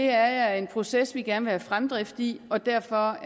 er en proces vi gerne vil have fremdrift i og derfor